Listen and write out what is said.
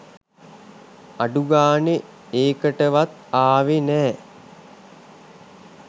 අඩුගානේ ඒකටවත් ආවේ නෑ